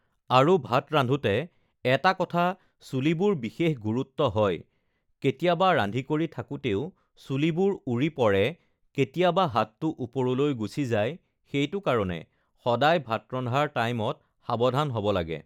আৰু ভাত ৰান্ধোতে এটা কথা চুলিবোৰ বিশেষ গুৰুত্ব হয় কেতিয়াবা ৰান্ধি কৰি থাকোতেও চুলিবোৰ উৰি পৰে কেতিয়াবা হাতটো ওপৰলৈ গুচি যায় সেইটো কাৰণে সদায় ভাত ৰন্ধাৰ টাইমত সাৱধান হ'ব লাগে